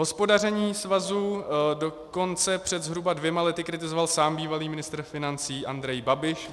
Hospodaření svazu dokonce před zhruba dvěma lety kritizoval sám bývalý ministr financí Andrej Babiš.